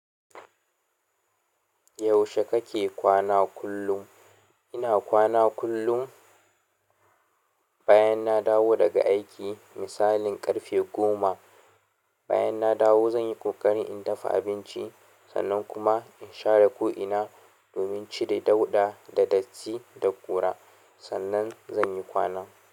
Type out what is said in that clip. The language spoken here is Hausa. Yaushe kake kwana kullum? Ina kwana kullun bayan na dawo daga aiki, misalin ƙarfe goma. Bayan na dawo zan yi ƙoƙarin in dafa abinci, sannan kuma in share ko'ina domin cire dauɗa da datti da ƙura, sannan zan yi kwana.